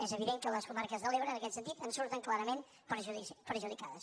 és evident que les comarques de l’ebre en aquest sentit en surten clarament perjudicades